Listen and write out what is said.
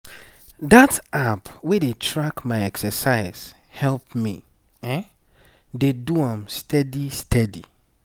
that app wey dey track my exercise help me dey do am steady steady.